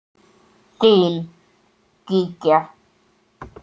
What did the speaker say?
Þín, Gígja.